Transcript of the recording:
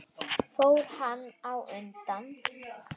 Fór hann þá undan.